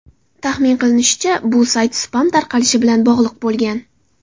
Taxmin qilinishicha, bu sayt spam tarqalishi bilan bog‘liq bo‘lgan.